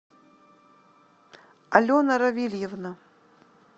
алена равильевна